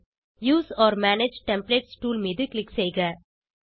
use ஒர் manage templates tool மீது click செய்க